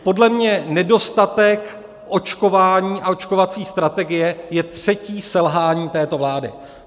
Podle mě nedostatek očkování a očkovací strategie je třetí selhání této vlády.